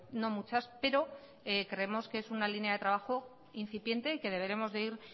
no muchas pero creemos que es una línea de trabajo incipiente y que deberemos de ir